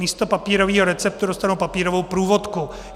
Místo papírového receptu dostanou papírovou průvodku.